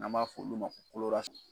N'an b'a f'olu ma